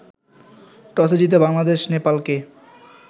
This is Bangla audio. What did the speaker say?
টসে জিতে বাংলাদেশ নেপালকে